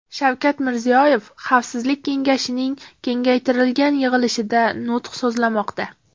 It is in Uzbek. Shavkat Mirziyoyev Xavfsizlik kengashining kengaytirilgan yig‘ilishida nutq so‘zlamoqda.